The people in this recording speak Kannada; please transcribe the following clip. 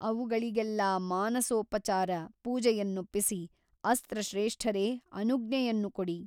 ಅವುಗಳಿಗೆಲ್ಲಾ ಮಾನಸೋಪಚಾರ ಪೂಜೆಯನ್ನೊಪ್ಪಿಸಿ ಅಸ್ತ್ರಶ್ರೇಷ್ಠರೆ ಅನುಜ್ಞೆಯನ್ನು ಕೊಡಿ.